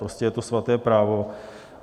Prostě je to svaté právo.